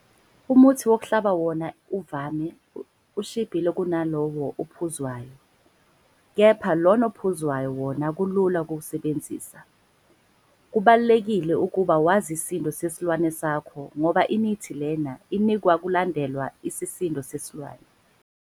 Umuthi wokuhlaba wona uvame ukushibha kunalowo ophuzwayo, kepha lona ophuzwayo wona kulula ukuwusebenzisa. Kubalulekile ukuba wazi isisindo sesilwane sakho ngoba imithi lena inikwa kulandelwa isisindo sesilwane.